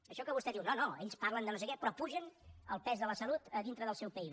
això que vostè diu no no ells parlen de no sé què però pugen el pes de la salut a dintre del seu pib